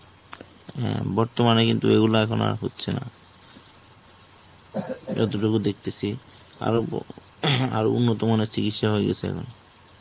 হ্যা বর্তমানে কিন্তু এগুলো এখন আর হচ্ছে না. যতটুকু দেখতেছি আরো~ আরো উন্নত মানের চিকিৎসা হয়ে গেছে এখন.